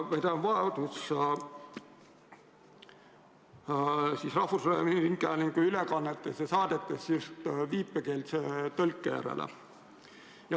Ma pean silmas rahvusringhäälingu saadetes viipekeelse tõlke vajadust.